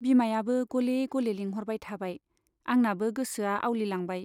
बिमायाबो गले गले लिंह'रबाय थाबाय, आंनाबो गोसोआ आवलिलांबाय।